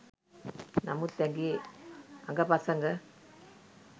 නමුත් ඇගේ අඟ පසඟ